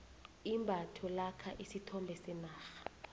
imbatho lakha isithombe senarha